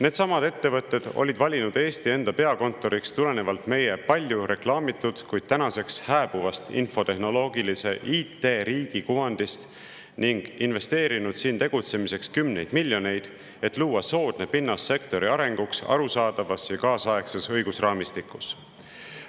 Needsamad ettevõtted olid valinud Eesti enda peakontoriks tulenevalt meie palju reklaamitud, kuid tänaseks hääbuvast infotehnoloogilise IT-riigi kuvandist ning investeerinud siin tegutsemiseks kümneid miljoneid, et luua soodne pinnas sektori arenguks arusaadavas ja kaasaegses õigusraamistikus.